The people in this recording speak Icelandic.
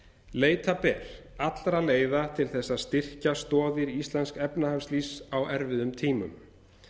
leita ber allra leiða til þess að styrkja stoðir íslensks efnahagslífs á erfiðum tímum